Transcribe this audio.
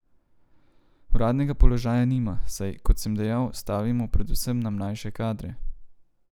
Uradnega položaja nima, saj, kot sem dejal, stavimo predvsem na mlajše kadre.